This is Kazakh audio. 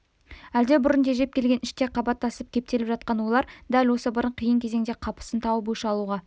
әлде бұрын тежеп келген іште қабаттасып кептеліп жатқан ойлар дәл осы бір қиын кезеңде қапысын тауып өш алуға